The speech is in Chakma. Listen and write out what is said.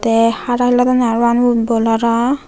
te hara helodonne parapang football hara.